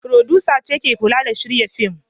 Furodusa ce ke kula da shirya fim.